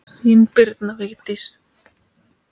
Þín, Birna Vigdís.